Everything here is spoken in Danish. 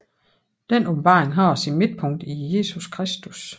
Denne åbenbaring har sit midtpunkt i Jesus Kristus